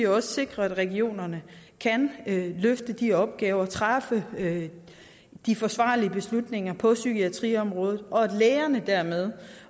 også sikre at regionerne kan løfte de opgaver træffe de forsvarlige beslutninger på psykiatriområdet så lægerne